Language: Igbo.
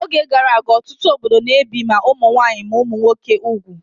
N'oge gara aga, ọtụtụ obodo na-ebi ma ụmụ nwaanyị ma ụmụ nwoke úgwù